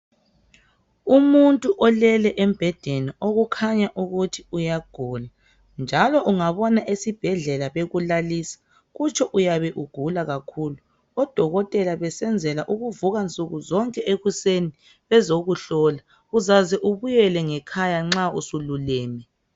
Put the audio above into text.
Umuntu olele embhedeni okukhanya ukuthi uyagula. Njalo ungabona esibhedlela bekulalisa kutsho uyabe ugula kakhulu, odokotela besenzela ukuthi bevuke nsukuzonke ekuseni bezokuhlola, uyaze ubuyele ngekhaya usululeme.